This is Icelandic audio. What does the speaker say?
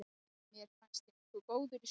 Mér fannst ég nokkuð góður í sumar.